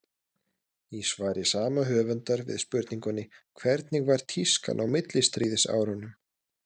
Í svari sama höfundar við spurningunni Hvernig var tískan á millistríðsárunum?